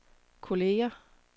kolleger